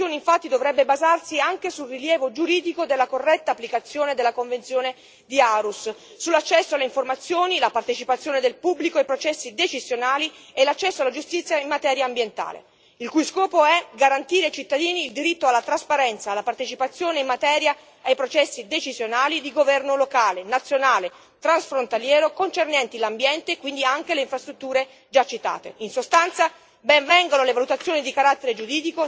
Il meccanismo di scambio di informazioni, infatti, dovrebbe basarsi anche sul rilievo giuridico della corretta applicazione della Convenzione di Aarhus sull'accesso alle informazioni, la partecipazione del pubblico ai processi decisionali e l'accesso alla giustizia in materia ambientale, il cui scopo è garantire ai cittadini il diritto alla trasparenza, alla partecipazione in materia, ai processi decisionali di governo locale, nazionale e transfrontaliero, concernenti l'ambiente e quindi anche le infrastrutture già citate, in sostanza, ben vengano le valutazioni di carattere giuridico, senza tralasciare alcun aspetto.